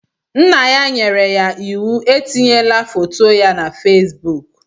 Nna ya nyere ya iwu etinyela foto ya na Facebook.